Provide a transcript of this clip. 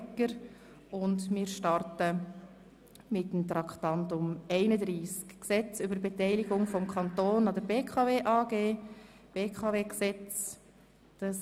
Wir starten mit Traktandum 31 betreffend das Gesetz über die Beteiligung des Kantons an der BKW AG (BKW-Gesetz, BKWG).